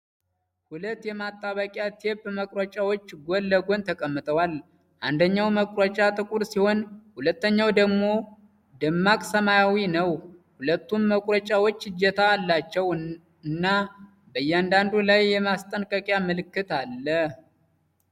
ሁለት የማጣበቂያ ቴፕ መቁረጫዎች ጎን ለጎን ተቀምጠዋል። አንደኛው መቁረጫ ጥቁር ሲሆን ሁለተኛው ደግሞ ደማቅ ሰማያዊ ነው። ሁለቱም መቁረጫዎች እጀታ አላቸው እና በእያንዳንዱ ላይ የማስጠንቀቂያ ምልክት አለ።